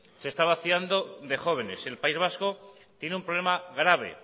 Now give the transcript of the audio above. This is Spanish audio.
se está vaciando de jóvenes el país vasco tiene un problema grave